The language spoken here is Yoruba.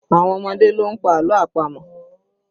Àwọn ọmọdé ló ń pa àlọ́ àpamọ̀